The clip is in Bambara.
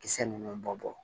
Kisɛ ninnu bɔ